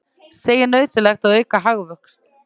Segir nauðsynlegt að auka hagvöxt